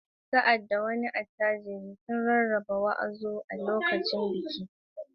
Sa’ad da wani attajiri ya rarraba “wàzobà” a lokacin biki, ƙauyen ya yi murna.